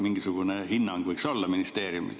Mingisugune hinnang võiks olla ministeeriumil.